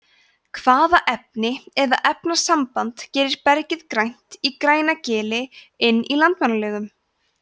hvaða efni eða efnasamband gerir bergið grænt í grænagili inn í landmannalaugum